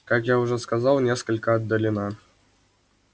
как я уже сказал несколько отдалена